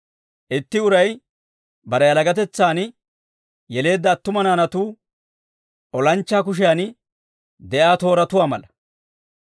Itti uray bare yalagatetsan yeleedda attuma naanatuu, olanchchaa kushiyan de'iyaa tooratuwaa mala.